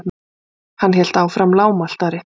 Hann hélt áfram lágmæltari.